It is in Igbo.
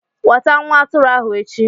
Weta nwa atụrụ ahu echi!